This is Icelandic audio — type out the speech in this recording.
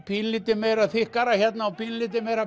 pínulítið meira þykkara hérna og pínulítið meira